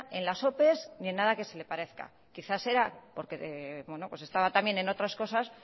en las opes ni en nada que se le parezca quizá será pues estaba también en otras cosas